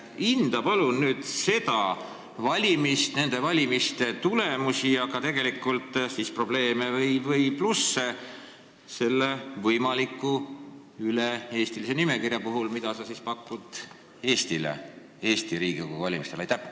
Hinda palun nüüd neid valimisi, nende valimiste tulemusi ja tegelikult probleeme või plusse, mis on sellel võimalikul üle-eestilisel nimekirjal, mida sa pakud Eestile Riigikogu valimiste jaoks.